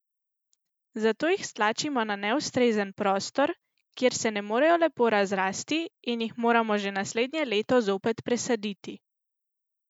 Zato jih stlačimo na neustrezen prostor, kjer se ne morejo lepo razrasti, in jih moramo že naslednje leto zopet presaditi.